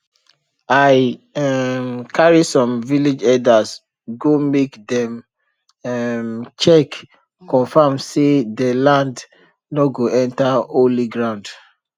i um carry some village elders go make dem um check confirm say dey land nor go enter holy ground